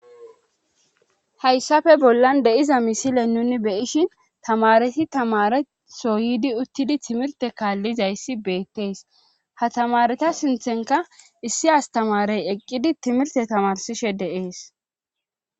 hayssafe bollan de'iza misile nuni beyishin tamareti tamare soydi uttidi timirte kaallizayssi beettees ha tamareta sinthenka issi astamarey eqqidi timirte tamarsishe dee'es